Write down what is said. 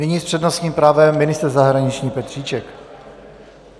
Nyní s přednostním právem ministr zahraničí Petříček.